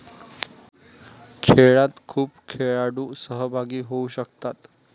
खेळात खूप खेळाडू सहभागी होऊ शकतात.